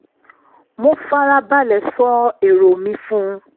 mo fara balẹ̀ sọ èrò mi fún un